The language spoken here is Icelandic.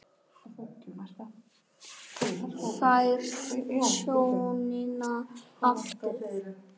Færð sjónina aftur.